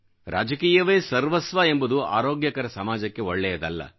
ರಾಜಕೀಯವೇ ಸರ್ವಸ್ವ ಎಂಬುದು ಆರೋಗ್ಯಕರ ಸಮಾಜಕ್ಕೆ ಒಳ್ಳೆಯದಲ್ಲ